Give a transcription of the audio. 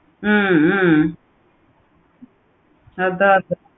ஹம் ஹம் அதா